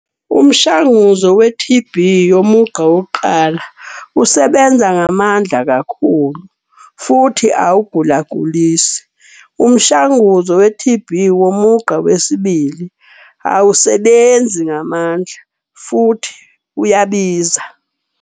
Umshanguzo we-T_B yomugqa wokuqala usebenza ngamandla kakhulu futhi awugulagulisi. Umshanguzo we-T_B womugqa wesibili awusebenzi ngamandla futhi uyabiza.